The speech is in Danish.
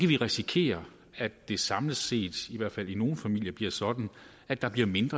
vi risikere at det samlet set i hvert fald i nogle familier bliver sådan at der bliver mindre